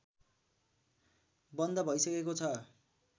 बन्द भैसकेको छ